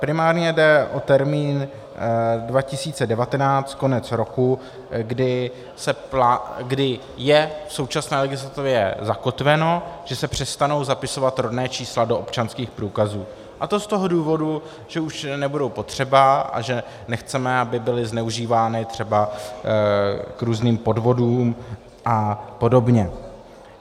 Primárně jde o termín 2019, konec roku, kdy je v současné legislativě zakotveno, že se přestanou zapisovat rodná čísla do občanských průkazů, a to z toho důvodu, že už nebudou potřeba a že nechceme, aby byla zneužívána třeba k různým podvodům a podobně.